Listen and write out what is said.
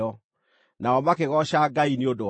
Nao makĩgooca Ngai nĩ ũndũ wakwa.